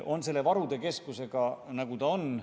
On selle varude keskusega, nagu ta on.